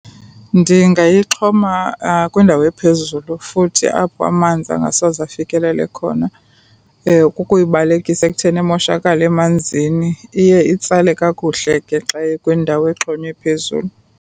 Ndingayixhoma kwindawo ephezulu futhi apho amanzi angasoze afikelele khona. Kukuyibalekisa ekutheni imoshakale emanzini. Iye itsale kakuhle ke xa ikwindawo exhonywe phezulu.